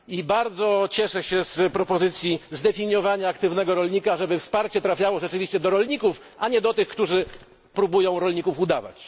Bardzo cieszę się z propozycji zdefiniowania aktywnego rolnika, żeby wsparcie trafiało rzeczywiście do rolników, a nie do tych, którzy próbują rolników udawać.